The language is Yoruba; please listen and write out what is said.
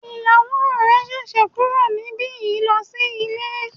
Ìyàwó rẹ ṣẹ̀ṣẹ̀ kúrò níbi yìí lọ sí ilé.